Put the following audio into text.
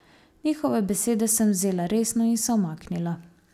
Njihove besede sem vzela resno in se umaknila.